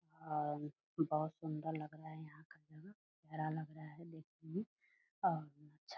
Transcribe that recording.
और बहुत सुंदर लग रहा है यहां का जगह प्यारा लग रहा है देखने मे और अच्छा --